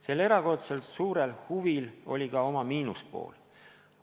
Sel erakordselt suurel huvil oli ka oma miinuspool.